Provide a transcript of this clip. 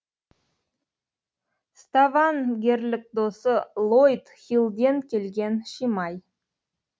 ставангерлік досы лойд хиллден келген шимай